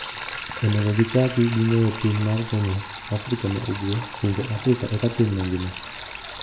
Onego gichaki gi ng'eyo piny mar Kenya, Afrika ma ugwe, pinje Afrika eka piny mangima.